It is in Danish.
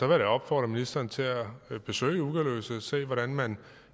da opfordre ministeren til at besøge ugerløse og se hvordan man